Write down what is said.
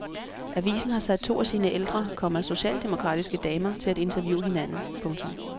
Avisen har sat to af sine ældre, komma socialdemokratiske damer til at interviewe hinanden. punktum